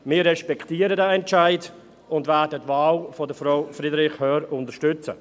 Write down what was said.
Wir respektieren diesen Entscheid und werden die Wahl von Frau Friederich Hörr unterstützen.